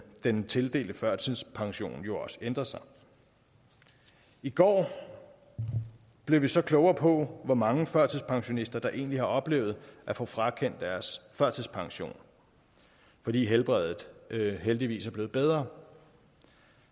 den tildelte førtidspensionen jo også ændret sig i går blev vi så klogere på hvor mange førtidspensionister der egentlig har oplevet at få frakendt deres førtidspension fordi helbredet heldigvis er blevet bedre